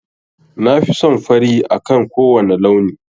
Na fi son fari akan kowane launi.